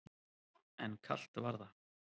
En kalt var það.